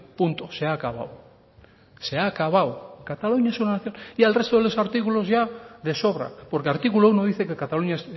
punto se ha acabado se ha acabado cataluña es una nación y al resto de los artículos ya de sobra porque artículo uno dice que cataluña